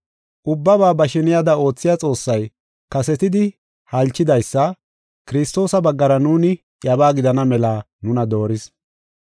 Ubbabaa ba sheniyada oothiya Xoossay, kasetidi halchidaysa Kiristoosa baggara nuuni iyabaa gidana mela nuna dooris.